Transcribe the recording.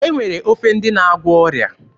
E nwere ofe ndị na-agwọ ọrịa.